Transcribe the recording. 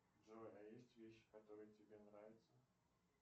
джой а есть вещи которые тебе нравятся